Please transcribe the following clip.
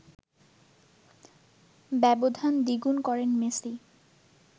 ব্যবধান দ্বিগুণ করেন মেসি